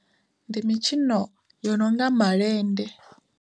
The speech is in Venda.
Ndi mitshino yo nonga malende.